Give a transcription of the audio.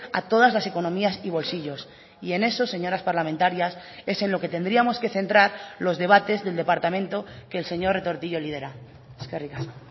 a todas las economías y bolsillos y en eso señoras parlamentarias es en lo que tendríamos que centrar los debates del departamento que el señor retortillo lidera eskerrik asko